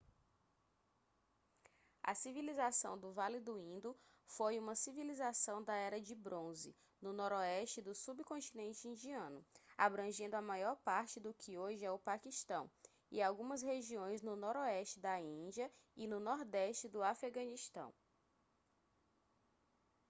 a civilização do vale do indo foi uma civilização da era de bronze no noroeste do subcontinente indiano abrangendo a maior parte do que hoje é o paquistão e algumas regiões no noroeste da índia e no nordeste do afeganistão